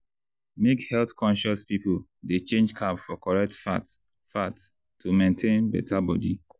make health-conscious people dey change carb for correct fat fat to maintain better body.